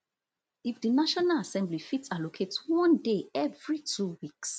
if di national assembly fit allocate one day evri two weeks